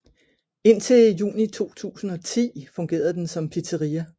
Indtil juni 2010 fungerede den som pizzeria